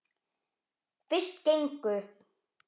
Fyrst gengu